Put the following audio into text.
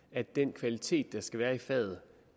at den kvalitet der skal være i faget